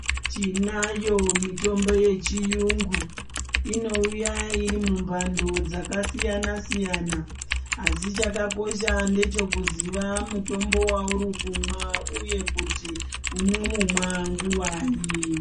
Tinayo mitombo yechiyungu inouya iri mumbando dzakasiyana siyana asi chakakosha ndechekuziya mutombo wauri kumwa uye kuti unomumwa nguwai.